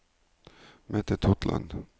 Mette Totland